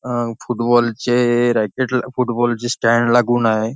अह फुटबॉल चे रॅकेट ला फुटबॉल चे स्टँड लागून आहे.